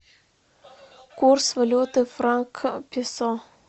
курс валюты франка песо